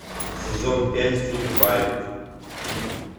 сезон пять фильм барри